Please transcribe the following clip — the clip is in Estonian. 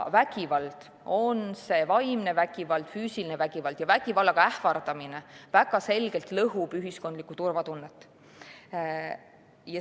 Vägivald – nii vaimne vägivald, füüsiline vägivald kui ka vägivallaga ähvardamine – väga selgelt lõhub ühiskondlikku turvatunnet.